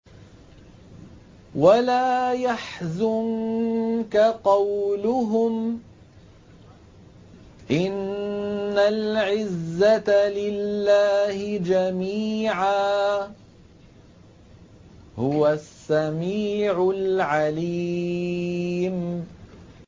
وَلَا يَحْزُنكَ قَوْلُهُمْ ۘ إِنَّ الْعِزَّةَ لِلَّهِ جَمِيعًا ۚ هُوَ السَّمِيعُ الْعَلِيمُ